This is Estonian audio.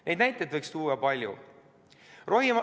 Neid näiteid võiks tuua palju.